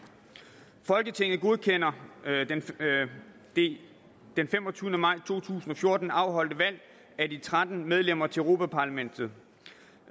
folketinget godkender det den femogtyvende maj to tusind og fjorten afholdte valg af de tretten medlemmer til europa parlamentet